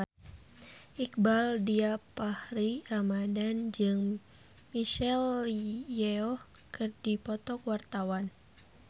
Iqbaal Dhiafakhri Ramadhan jeung Michelle Yeoh keur dipoto ku wartawan